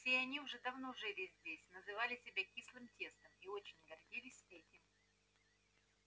все они уже давно жили здесь называли себя кислым тестом и очень гордились этим